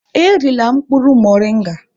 Erila mkpụrụ moringa!